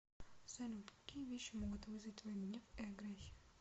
салют какие вещи могут вызвать твой гнев и агрессию